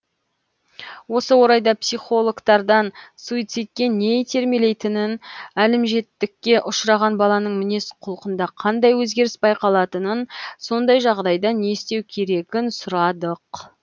осы орайда психологтардан суицидке не итермелейтінін әлімжеттікке ұшыраған баланың мінез құлқында қандай өзгеріс байқалатынын сондай жағдайда не істеу керегін сұрадық